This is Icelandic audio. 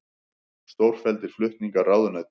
Stórfelldir flutningar ráðuneyta